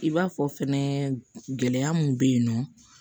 I b'a fɔ fɛnɛ gɛlɛya mun bɛ yen nɔ